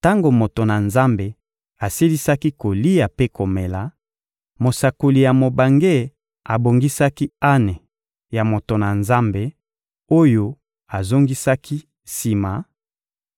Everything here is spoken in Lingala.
Tango moto na Nzambe asilisaki kolia mpe komela, mosakoli ya mobange abongisaki ane ya moto na Nzambe oyo azongisaki sima,